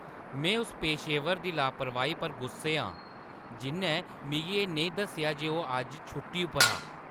में उस पेशेवर दी लापरवाही पर गुस्से आं जिʼन्नै मिगी एह् नेईं दस्सेआ जे ओह् अज्ज छुट्टी पर हा।